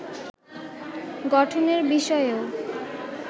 গঠনের বিষয়েও